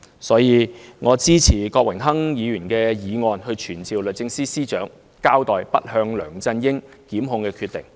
所以，我支持郭榮鏗議員的議案，傳召律政司司長交代不檢控梁振英的決定。